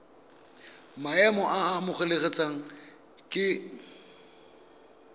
maemo a a amogelesegang ke